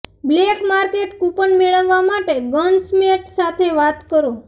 black market coupon મેળવવા માટે ગન્સસ્મેટ સાથે વાત કરો